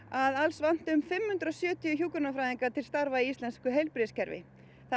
að alls vanti fimm hundruð og sjötíu hjúkrunarfræðinga til starfa í íslenska heilbrigðiskerfinu